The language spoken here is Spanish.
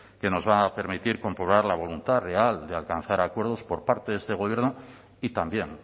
que nos va a permitir comprobar la voluntad real de alcanzar acuerdos por parte de este gobierno y también